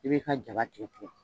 I b'i ka jaba tigɛ tigɛ